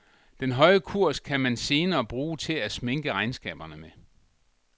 Den høje kurs kan man senere bruge til at sminke regnskaberne med.